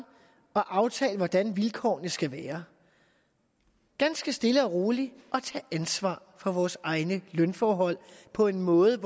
og aftale hvordan vilkårene skal være ganske stille og roligt tage ansvar for vores egne lønforhold på en måde